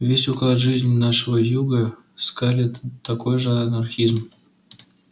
весь уклад жизни нашего юга скарлетт такой же анархизм